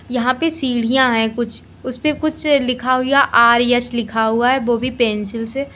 यहां पे सीढ़ियां हैं कुछ उसपे कुछ लिखा हुआ आर_एस लिखा हुआ है वो भी पेंसिल से।